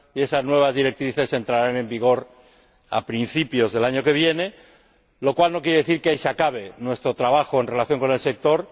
Y esas nuevas directrices entrarán en vigor a principios del año que viene, lo cual no quiere decir que ahí se acabe nuestro trabajo en relación con el sector.